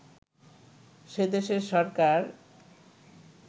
সেদেশের সরকার